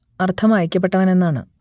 അർത്ഥം അയക്കപ്പെട്ടവൻ എന്നാണ്